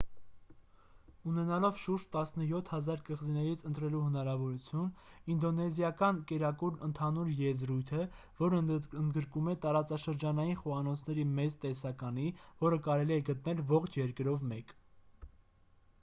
ունենալով շուրջ 17 000 կղզիներից ընտրելու հնարավորություն ինդոնեզիական կերակուրն ընդհանուր եզրույթ է որն ընդգրկում է տարածաշրջանային խոհանոցների մեծ տեսականի որը կարելի է գտնել ողջ երկրով մեկ